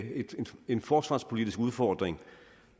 en forsvarspolitisk udfordring